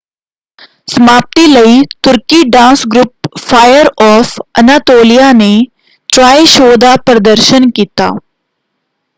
ਸਮਾਪਤੀ ਲਈ ਤੁਰਕੀ dance group fire of Anatolia ਨੇ ਟ੍ਰਾਇ ਸ਼ੋਅ ਦਾ ਪ੍ਰਦਰਸ਼ਨ ਕੀਤਾ।